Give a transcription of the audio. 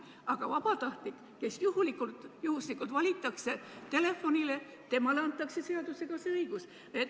Aga vabatahtlik, kes juhuslikult valitakse telefonile – temale antakse seadusega see õigus.